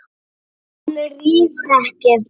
En rífur ekki.